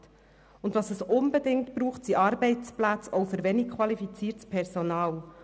Und was es unbedingt braucht, sind Arbeitsplätze, auch für wenig qualifiziertes Personal.